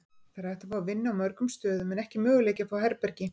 Það er hægt að fá vinnu á mörgum stöðum en ekki möguleiki að fá herbergi.